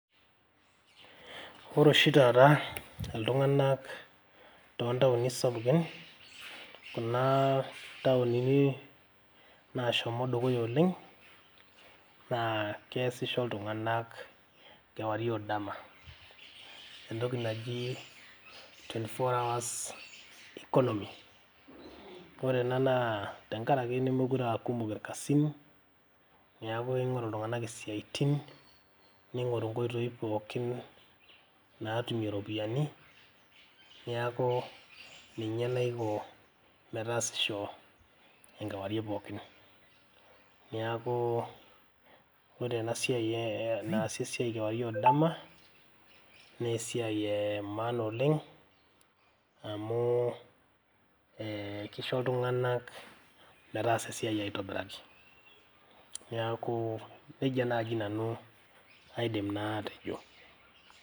Ore oshi taata iltung`anak too ntaoni sapukin kuna taonini naashomo dukuya oleng naa keasisho iltung`anak kewarie o dama. Entoki naji twenty four hours economy. Ore ena naa tenkaraki nemeekure aa kumok ilkasin . Niaku ing`oru iltung`anak isiaitin neing`oru nkoitoi pookin naatumie irropiyiani niaku ninye naiko metaasisho enkewarie pookin. Niaku ore ena siai naasi esiai kewarie o dama naa esiai e maana oleng amu kisho iltung`anak metaasa esiai aitobiraki. Niaku nejia naaji nanu aidim naa atejo.